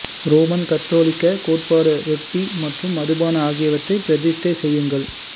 Roman கத்தோலிக்கக் கோட்பாடு ரொட்டி மற்றும் மதுபானம் ஆகியவற்றைப் பிரதிஷ்டை செய்யுங்கள்